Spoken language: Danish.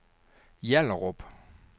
Hjallerup